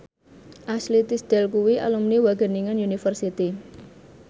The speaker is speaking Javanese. Ashley Tisdale kuwi alumni Wageningen University